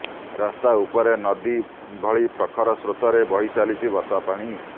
ରାସ୍ତା ଉପରେ ନଦୀ ଭଳି ପ୍ରଖର ସ୍ରୋତରେ ବହି ଚାଲିଛି ବର୍ଷା ପାଣି